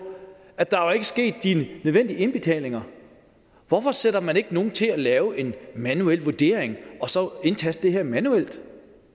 at der ikke var sket de nødvendige indbetalinger hvorfor sætter man så ikke nogen til at lave en manuel vurdering og så indtaste det her manuelt